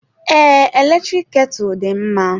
Ee, eletrik ketu dị mma.